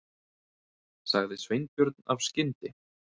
sagði Sveinbjörn af skyndi